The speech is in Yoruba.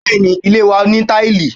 Bẹẹni, ilé wa ní taili.